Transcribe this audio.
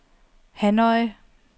Hanoi